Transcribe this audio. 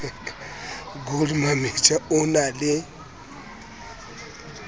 gold mametja o na le